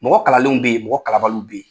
Mɔgɔ kalanlenw bɛ yen mɔgɔ kalabaliw bɛ yen.